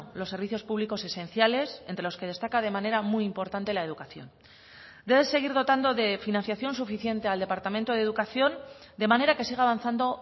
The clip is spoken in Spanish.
los servicios públicos esenciales entre los que destaca de manera muy importante la educación debe seguir dotando de financiación suficiente al departamento de educación de manera que siga avanzando